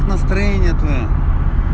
настроение твоё